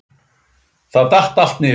Þá datt allt niður.